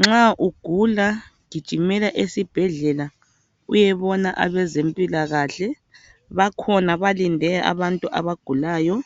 Nxa ugula gijimela esibhedlela uyebona abezempilakahle, bakhona balinde abantu abagulayo.